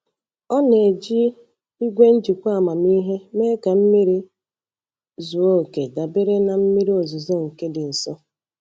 Ọ na-eji igwe njikwa amamihe mee ka mmiri zuo oke dabere na mmiri ozuzo nke dị nso.